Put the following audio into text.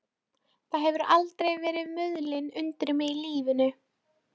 Það hefur aldrei verið mulið undir mig í lífinu.